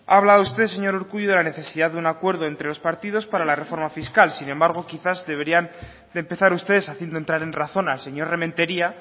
ha hablado usted señor urkullu de la necesidad de un acuerdo entre los partidos para la reforma fiscal sin embargo quizás deberían de empezar ustedes haciendo entrar en razón al señor rementeria